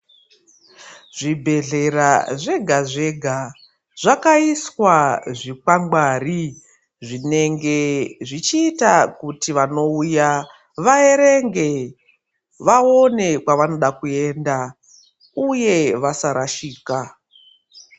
Zvibhedhlera zvega-zvega ,zvakaiswa zvikwangwari ,zvinenge zvichiita kuti vanouya vaerenge, vaone kwavanoda kuenda, uye vasarashika.